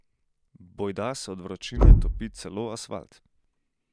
Bojda se od vročine topi celo asfalt.